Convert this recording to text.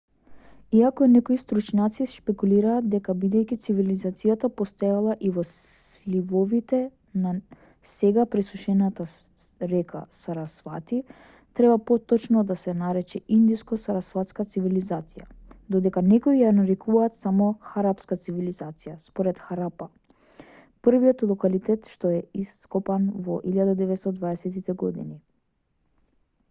иако некои стручњаци шпекулираат дека бидејќи цивилизацијата постоела и во сливовите на сега пресушената река сарасвати треба поточно да се нарече индско-сарасватска цивилизација додека некои ја нарекуваат само харапска цивилизација според харапа првиот локалитет што е ископан во 1920тите години